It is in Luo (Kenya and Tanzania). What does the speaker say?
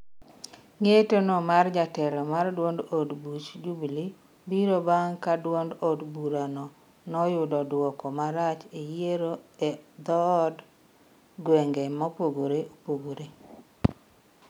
ng'etono mar jatelo mar duod od buch jubilee biro bang' ka duond od burano noyudo dwoko marach e yiero e dhod gwenge mopogore opogore